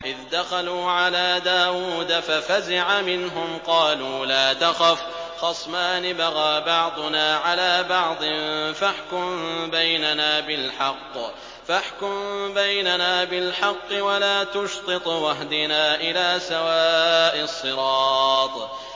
إِذْ دَخَلُوا عَلَىٰ دَاوُودَ فَفَزِعَ مِنْهُمْ ۖ قَالُوا لَا تَخَفْ ۖ خَصْمَانِ بَغَىٰ بَعْضُنَا عَلَىٰ بَعْضٍ فَاحْكُم بَيْنَنَا بِالْحَقِّ وَلَا تُشْطِطْ وَاهْدِنَا إِلَىٰ سَوَاءِ الصِّرَاطِ